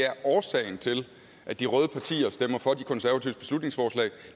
at årsagen til at de røde partier stemmer for de konservatives beslutningsforslag